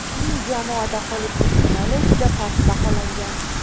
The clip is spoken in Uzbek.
Uning jamoada qolish ehtimoli juda past baholangan.